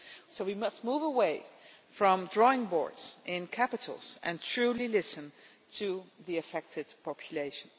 So we must move away from drawing boards in capitals and truly listen to the affected population.